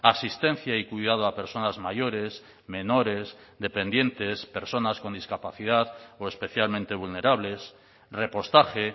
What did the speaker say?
asistencia y cuidado a personas mayores menores dependientes personas con discapacidad o especialmente vulnerables repostaje